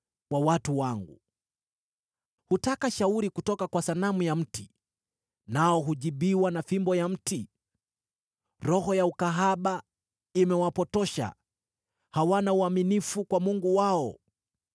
wa watu wangu. Hutaka shauri kutoka kwa sanamu ya mti nao hujibiwa na fimbo ya mti. Roho ya ukahaba imewapotosha, hawana uaminifu kwa Mungu wao.